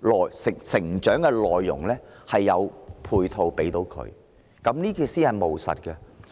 們的成長內容，為他們提供配套，這才是務實的做法。